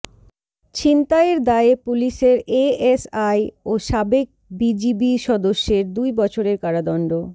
ছিনতাইয়ের দায়ে পুলিশের এএসআই ও সাবেক বিজিবি সদস্যের দুই বছরের কারাদণ্ড